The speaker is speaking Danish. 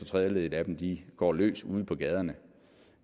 tredjedele af dem går løs ude på gaderne